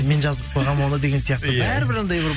мен жазып қойғанмын оны деген сияқты бәрібір андай бір